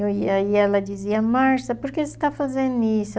E aí ela dizia, Marcia, por que você está fazendo isso?